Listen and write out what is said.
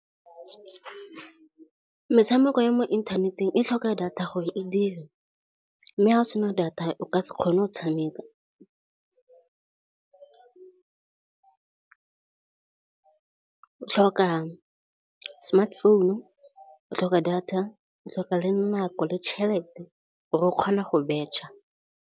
Metshameko ya mo inthaneteng e tlhoka data gore e dire, mme ga o sena data o ka se kgone go tshameka. O tlhoka smartphone, o tlhoka data, o tlhoka le nako le tšhelete gore o kgona go betšha.